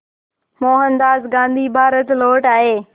मोहनदास गांधी भारत लौट आए